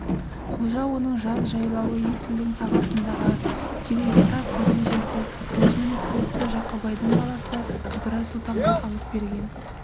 құлжа оның жаз жайлауы есілдің сағасындағы керегетас деген жерді өзінің туысы жақыбайдың баласы ыбырай сұлтанға алып берген